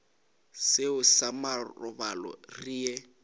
seo sa marobalo re ye